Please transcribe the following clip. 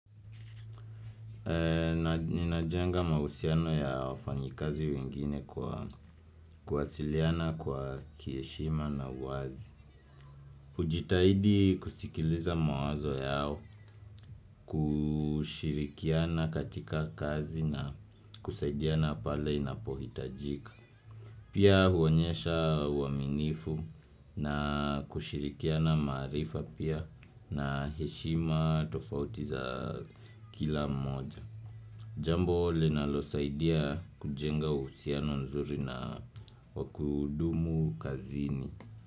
Ninajenga mausiano ya wafanyikazi wengine kwa kwasiliana kwa kieshima na uwazi ujitahidi kusikiliza mawazo yao kushirikiana katika kazi na kusaidiana pale inapohitajika Pia huonyesha uaminifu na kushirikiana maarifa pia na heshima tofautiza kila mmoja Jamboo linalosaidia kujenga usiano nzuri na wakudumu kazini.